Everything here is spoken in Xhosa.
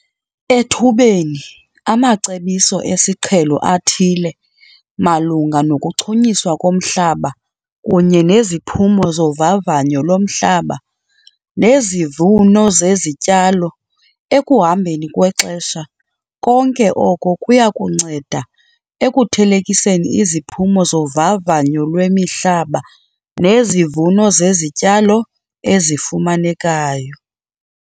Ethubeni, amacebiso esiqhelo athile malunga nokuchunyiswa komhlaba kunye neziphumo zovavanyo lomhlaba nezivuno zezityalo ekuhambeni kwexesha konke oko kuya kunceda ekuthelekiseni iziphumo zovavanyo lwemihlaba nezivuno zezityalo ezifumanekayo.